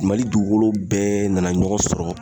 Mali dugukolo bɛɛ nana ɲɔgɔn sɔrɔ